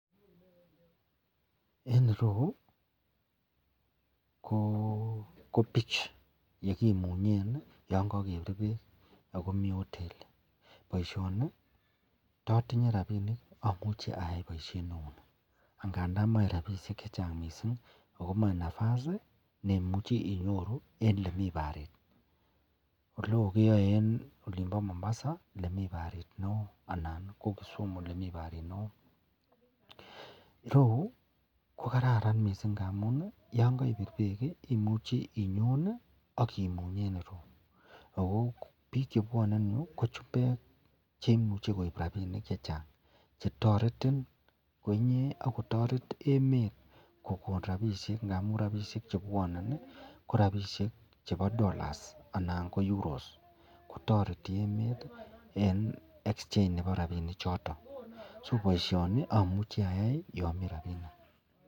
En ireu ko beach elikimunyen yangagebir bek akomi hotelit baishoni tatinye rabinik amuche ayai baishet neuni angandan mache rabishek chechang mising akomache nafasi chemache inyoru en olemiten barit oleon keyai en olimbo Mombasa en olemi barit neon Mombasa ak Kisumu olemiten barit neon ireyu kokararan mising yangaibir bek koimuche inyon akimuny en ireyu ako bik chebwanen ireyu ko chumbek cheimuche koibbtabinik chechang chetareti koinyee ak kotaret emet kokon rabishek amun rabishek chebwanen korabishek chebo dollars anan ko euros kotareti emet en exchange Nebo rabinik choton akobaishen notonnamuche ayai yamiten rabinik